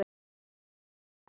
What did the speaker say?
Andar okkar!